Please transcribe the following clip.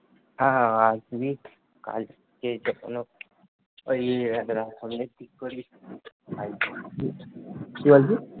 হ্যাঁ হ্যাঁ হ্যাঁ